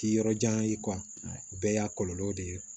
K'i yɔrɔ jan ye o bɛɛ y'a kɔlɔlɔw de ye